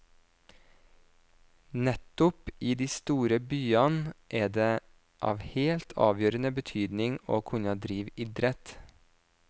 Nettopp i de store byene er det av helt avgjørende betydning å kunne drive idrett.